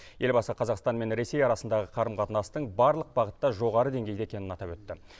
елбасы қазақстан мен ресей арасындағы қарым қатынастың барлық бағытта жоғары деңгейде екенін атап өтті